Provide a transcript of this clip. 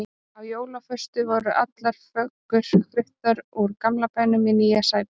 Á jólaföstu voru allar föggur fluttar úr gamla bænum í nýja Sæból.